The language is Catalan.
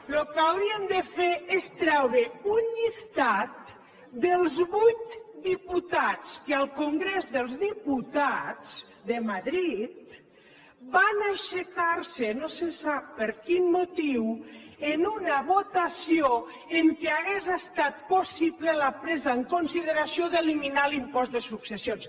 el que haurien de fer és treure un llistat dels vuit diputats que al congrés dels diputats de madrid van aixecarse no se sap per quin motiu en una votació en què hauria estat possible la presa en consideració d’eliminar l’impost de successions